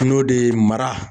I y'o de ye mara